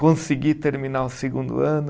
Consegui terminar o segundo ano.